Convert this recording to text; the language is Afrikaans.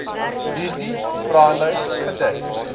hierdie vraelys gedek